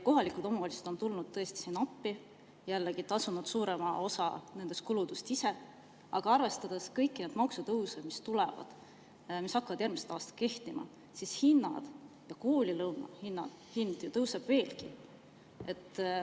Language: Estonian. Kohalikud omavalitsused on tõesti tulnud appi, jällegi tasunud suurema osa nendest kuludest ise, aga arvestades kõiki maksutõuse, mis tulevad, mis hakkavad järgmisest aastast kehtima, tõusevad hinnad, ka koolilõuna hind veelgi.